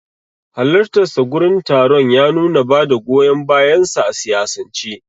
Halartarsa gurin taron ya nuna bada goyon bayansa a siyasance.